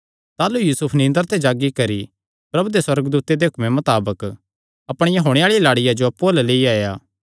ताह़लू यूसुफ निंदरा ते जागी करी प्रभु दे सुअर्गदूते दे हुक्मे मताबक अपणिया होणे आल़िआ लाड़िया जो अप्पु अल्ल लेई आया